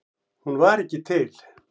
Hún var ekki til.